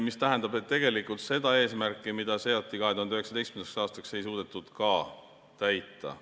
See tähendab, et tegelikult seda eesmärki, mis seati 2019. aastaks, ei suudetud ka täita.